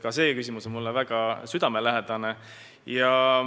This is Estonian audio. Ka see küsimus on mulle väga südamelähedane.